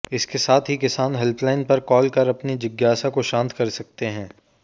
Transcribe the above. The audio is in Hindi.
इसके साथ ही किसान हेल्पलाइन पर कॉल कर अपनी जिज्ञासा को शांत कर सकते हैं